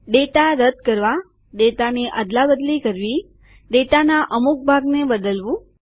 data રદ કરવા ડેટાની અદલાબદલી કરવી ડેટાના અમુક ભાગને બદલવું